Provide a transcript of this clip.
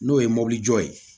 N'o ye mobilijɔ ye